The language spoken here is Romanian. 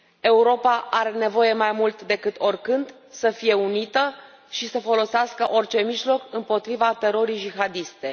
Europa are nevoie mai mult decât oricând să fie unită și să folosească orice mijloc împotriva terorii jihadiste.